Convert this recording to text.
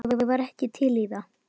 Ég var ekki til í það.